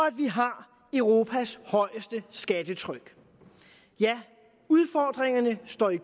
at vi har europas højeste skattetryk ja udfordringerne står i